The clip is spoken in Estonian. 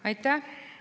Aitäh!